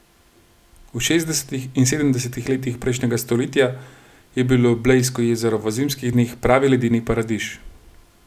V šestdesetih in sedemdesetih letih prejšnjega stoletja je bilo Blejsko jezero v zimskih dneh pravi ledeni paradiž.